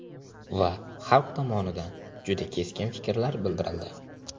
Va xalq tomonidan juda keskin fikrlar bildirildi.